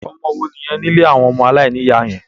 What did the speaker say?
Ọmọ wo nìyẹn ní ilé àwọn ọmọ aláìníìyá yẹn?